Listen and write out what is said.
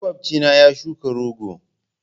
Makwabcina ya shuka rogo.